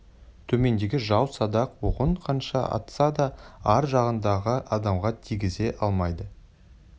төмендегі жау садақ оғын қанша атса да ар жағындағы адамға тигізе алмайды